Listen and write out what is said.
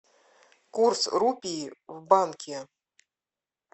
курс рупии в банке